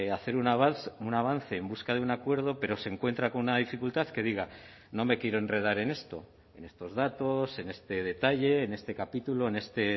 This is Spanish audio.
hacer un avance en busca de un acuerdo pero se encuentra con una dificultad que diga no me quiero enredar en esto en estos datos en este detalle en este capítulo en este